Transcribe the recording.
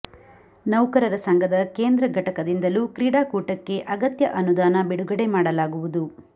ನೌಕರರ ಸಂಘದ ಕೇಂದ್ರ ಘಟಕದಿಂದಲೂ ಕ್ರೀಡಾಕೂಟಕ್ಕೆ ಅಗತ್ಯ ಅನುದಾನ ಬಿಡುಗಡೆ ಮಾಡಲಾಗುವುದು